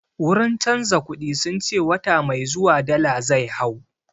Wurin canza kuɗi sun ce wata mai zuwa dala zai hau